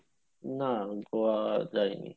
না Goa যায়নি